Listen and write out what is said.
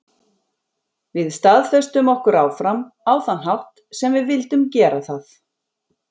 Við staðfestum okkur áfram, á þann hátt sem við vildum gera það.